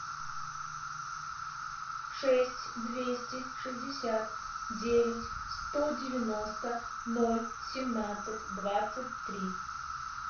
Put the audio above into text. шесть двести шестьдесят девять сто девяносто ноль семнадцать двадцать три